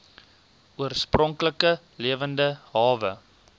oorspronklike lewende hawe